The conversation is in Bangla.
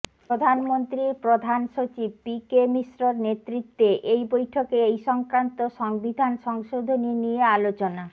প্রধানমন্ত্রীর প্রধান সচিব পি কে মিশ্রর নেতৃত্বে এই বৈঠকে এই সংক্রান্ত সংবিধান সংশোধনী নিয়ে আলোচনা